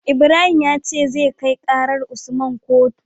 Ibrahim yace zai kai karar usman kotu